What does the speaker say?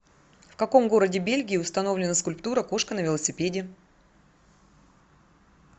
в каком городе бельгии установлена скульптура кошка на велосипеде